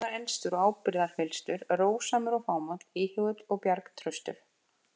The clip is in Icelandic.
Bjarni var elstur og ábyrgðarfyllstur, rósamur og fámáll, íhugull og bjargtraustur.